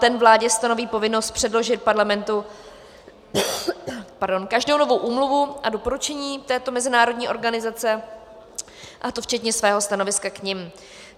Ten vládě stanoví povinnost předložit Parlamentu každou novou úmluvu a doporučení této mezinárodní organizace, a to včetně svého stanoviska k nim.